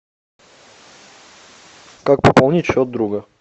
как пополнить счет друга